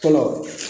Fɔlɔ